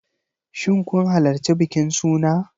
Shin kun halarci bikin suna?